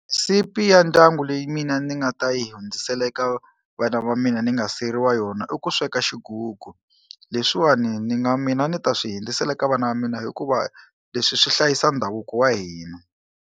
Sipi ya ndyangu leyi mina ni nga ta yi hundzisela eka vana va mina ni nga siyeriwa yona i ku sweka xigugu leswiwani ni nga mina ni ta swi hundzisela ka vana va mina hikuva leswi swi hlayisa ndhavuko wa hina.